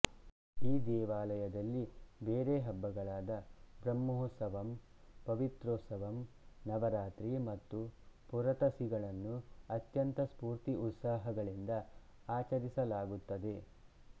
ಈ ದೇವಾಲಯದಲ್ಲಿ ಬೇರೆ ಹಬ್ಬಗಳಾದ ಬ್ರಹ್ಮೋತ್ಸವಮ್ ಪವಿತ್ರೋತ್ಸವಮ್ ನವರಾತ್ರಿ ಮತ್ತು ಪುರತಸಿಗಳನ್ನು ಅತ್ಯಂತ ಸ್ಫೂರ್ತಿ ಉತ್ಸಾಹಗಳಿಂದ ಆಚರಿಸಲಾಗುತ್ತದೆ